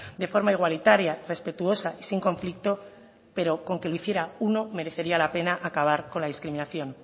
de forma igualitaria respetuosa y sin conflicto pero con que lo hiciera uno merecería la pena acabar con la discriminación